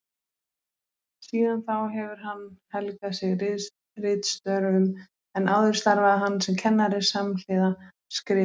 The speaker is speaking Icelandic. Síðan þá hefur hann helgað sig ritstörfum en áður starfaði hann sem kennari samhliða skrifum.